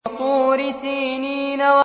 وَطُورِ سِينِينَ